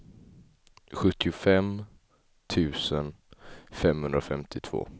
sjuttiofem tusen femhundrafemtiotvå